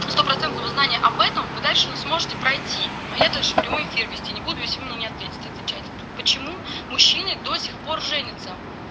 стопроцентного знания об этом вы дальше не сможете пройти а я дальше прямой эфир вести не буду если вы мне не ответите отвечайте почему мужчины до сих пор женятся